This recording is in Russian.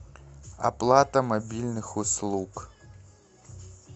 оплата мобильных услуг